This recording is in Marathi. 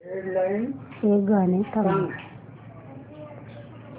हे गाणं थांबव